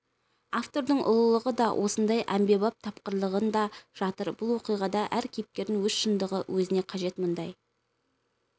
автордың ұлылығы да осындай әмбебаб тапқырлығында жатыр бұл оқиғада әр кейіпкердің өз шындығы өзіне қажет мұндай